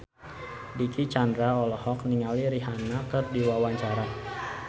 Dicky Chandra olohok ningali Rihanna keur diwawancara